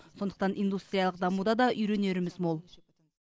сондықтан индустриялық дамуда да үйренеріміз мол